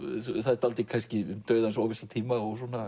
það er dálítið kannski um dauðans óvissa tíma